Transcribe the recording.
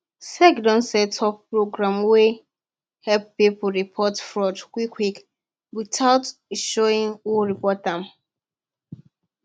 sec don set up program wey help people report fraud quietly without showing who report am